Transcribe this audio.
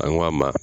An ko a ma